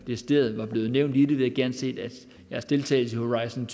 decideret nævnt i den vi havde gerne set at deres deltagelse i horizon